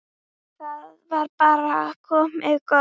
Þetta var bara komið gott.